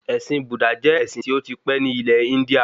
Ẹ̀sìn Búdà jẹ́ ẹ̀sìn tí ó ti pẹ́ ní ilẹ̀ Índíà